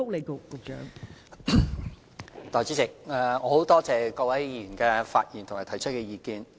代理主席，我感謝各位議員發言和提出意見。